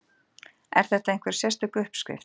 Er þetta einhver sérstök uppskrift?